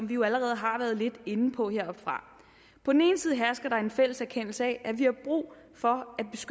vi jo allerede har været lidt inde på heroppefra på en ene side hersker der en fælles erkendelse af at vi har brug for